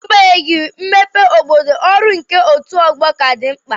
N'agbanyeghị mmepe obodo, ọrụ nke otù ọgbọ ka dị mkpa.